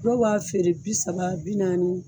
Dɔw b'a feere bi saba bi naani.